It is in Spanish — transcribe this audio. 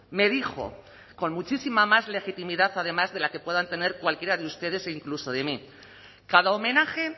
me dijo con muchísima más legitimidad además de la que puedan tener cualquiera de ustedes o incluso de mí cada homenaje